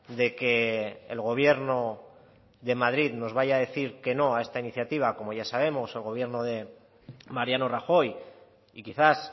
de que el gobierno de madrid nos vaya a decir que no a esta iniciativa como ya sabemos el gobierno de mariano rajoy y quizás